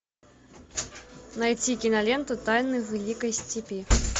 найти киноленту тайны великой степи